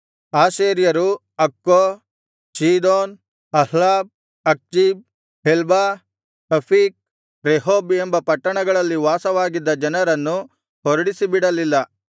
ಆಶೇರ್ಯರು Accho Zidon Ahlab Achzib Helbah Aphik Rehob ಎಂಬ ಪಟ್ಟಣಗಳಲ್ಲಿ ವಾಸವಾಗಿದ್ದ ಜನರನ್ನು ಹೊರಡಿಸಿಬಿಡಲಿಲ್ಲ